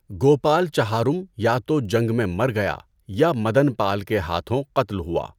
گوپال چہارم یا تو جنگ میں مر گیا یا مدنپال کے ہاتھوں قتل ہوا۔